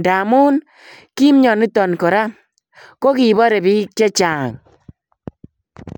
ndamuun ki mianotoon kora ko bare biik chechaang.